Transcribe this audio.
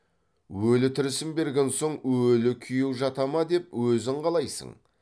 өлі тірісін берген соң өлі күйеу жата ма деп өзің қалайсың